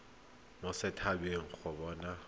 mo set habeng go bona